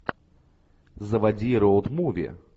заводи роуд муви